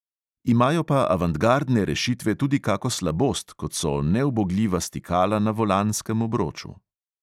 Imajo pa avantgardne rešitve tudi kako slabost, kot so neubogljiva stikala na volanskem obroču.